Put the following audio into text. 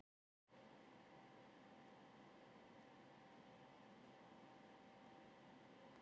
Ástin mín, ég vona að þú fyrirgefir mér, en ég þarf svo mikið að spjalla.